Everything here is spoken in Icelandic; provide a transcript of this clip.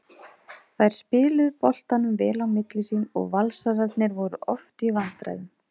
Þær spiluðu boltanum vel á milli sín og Valsararnir voru oft í vandræðum.